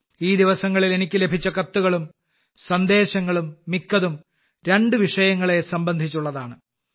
ഈ ദിവസങ്ങളിൽ എനിക്ക് ലഭിച്ച കത്തുകളും സന്ദേശങ്ങളും മിക്കതും രണ്ട് വിഷയങ്ങളെ സംബന്ധിച്ചുള്ളതാണ്